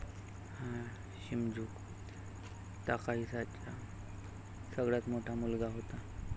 हा शिमझू ताकाहीसाचा सगळ्यात मोठा मुलगा होता.